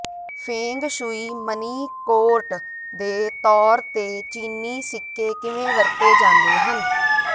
feng shui money ਕੌਰਟ ਦੇ ਤੌਰ ਤੇ ਚੀਨੀ ਸਿੱਕੇ ਕਿਵੇਂ ਵਰਤੇ ਜਾਂਦੇ ਹਨ